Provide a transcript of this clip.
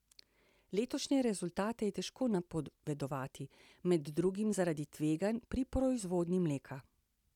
Letošnje rezultate je težko napovedovati, med drugim zaradi tveganj pri proizvodnji mleka.